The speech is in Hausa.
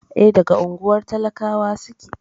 E, daga unguwar talakawa suke.